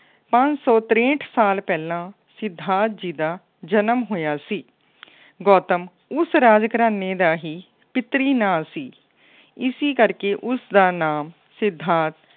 ਪੰਜ ਸੌ ਤਰੇਂਹਠ ਸਾਲ ਪਹਿਲਾਂ ਸਿਧਾਰਥ ਜੀ ਦਾ ਜਨਮ ਹੋਇਆ ਸੀ। ਗੌਤਮ ਉਸ ਰਾਜ ਘਰਾਨੇ ਦਾ ਹੀ ਪਿੱਤਰੀ ਨਾਂ ਸੀ। ਇਸੀ ਕਰਕੇ ਉਸਦਾ ਨਾਮ ਸਿਧਾਰਥ